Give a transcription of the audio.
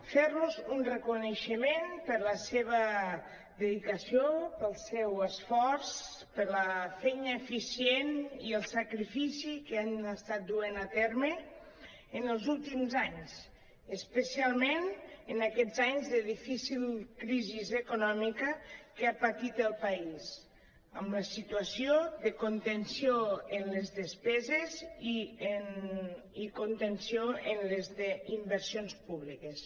fer·los un reconeixement per la seva dedicació pel seu esforç per la feina eficient i el sacrifici que han estat duent a terme en els últims anys especialment en aquests anys de difícil crisi econòmica que ha patit el país amb la situació de contenció en les despeses i contenció en les inversions públiques